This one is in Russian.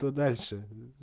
то дальше